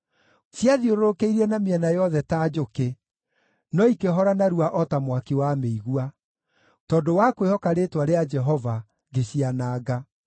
Ciathiũrũrũkĩirie na mĩena yothe ta njũkĩ, no ikĩhora narua o ta mwaki wa mĩigua; tondũ wa kwĩhoka rĩĩtwa rĩa Jehova ngĩciananga.